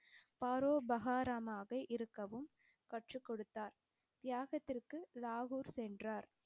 பரோபகாரமாக இருக்கவும் கற்றுக் கொடுத்தார். தியாகத்திற்கு லாகூர் சென்றார்.